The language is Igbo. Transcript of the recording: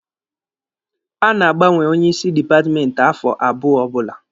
A na-agbanwe onye isi dipatmenti afọ abụọ ọbụla